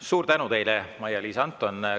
Suur tänu teile, Maia-Liisa Anton!